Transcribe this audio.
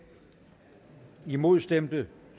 imod stemte